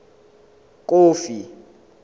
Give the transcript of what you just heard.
kofi